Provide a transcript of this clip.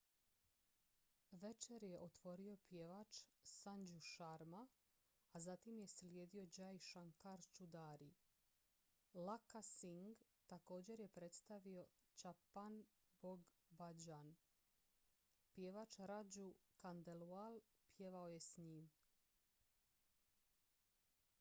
večer je otvorio pjevač sanju sharma a zatim je slijedio jai shankar choudhary lakkha singh također je predstavio chhappan bhog bhajan pjevač raju khandelwal pjevao je s njim